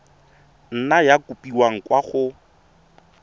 nna ya kopiwa kwa go